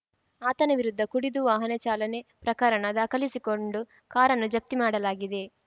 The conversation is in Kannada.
ಆತನ ವಿರುದ್ಧ ಕುಡಿದು ವಾಹನ ಚಾಲನೆ ಪ್ರಕರಣ ದಾಖಲಿಸಿಕೊಂಡು ಕಾರನ್ನು ಜಪ್ತಿ ಮಾಡಲಾಗಿದೆ